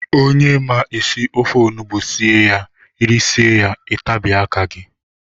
Onye ma esị ofe ọnụgbu sie ya irisie ya itabie aka gị.